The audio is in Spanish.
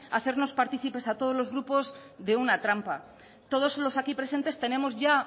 hacernos partícipes a todos los grupos de una trampa todos los aquí presentes tenemos ya